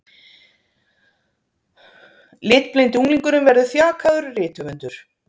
Litblindi unglingurinn verður þjakaður rithöfundur